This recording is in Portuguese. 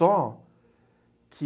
Só que...